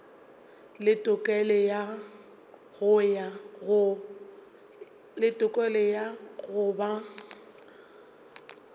le tokelo ya go ba